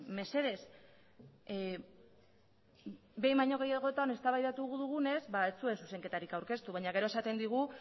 mesedez behin baino gehiagotan eztabaidatu dugunez ez zuen zuzenketarik aurkeztu baina gero esaten digu